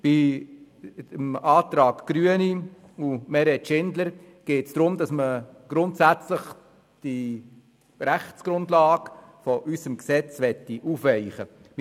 Bei den Anträgen Gerber/Grüne und Schindler/SP-JUSO-PSA geht es darum, dass man grundsätzlich die Rechtsgrundlage unseres Gesetzes aufweichen möchte.